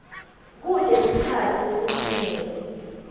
kute sikhatsi lesincunyelwe